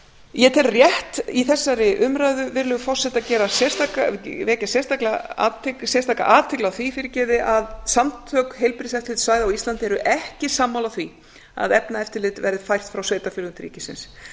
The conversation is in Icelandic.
ég tel rétt í þessari umræðu virðulegi forseti að vekja sérstaka athygli á því að samtök heilbrigðiseftirlitssvæða á íslandi eru ekki sammála því að efnaeftirlit verði fært frá sveitarfélögum til ríkisins